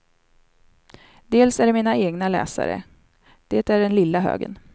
Dels är det mina egna läsare, det är den lilla högen.